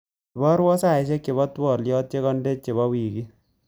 Iparwa saishek chebo twaliot chekande chebo wikit.